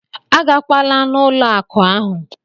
A gakwala n'ụlọ akụ ahụ!